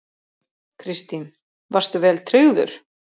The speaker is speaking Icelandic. Kristín: Varstu vel tryggður?